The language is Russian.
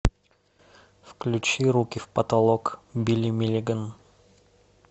включи руки в потолок билли миллиган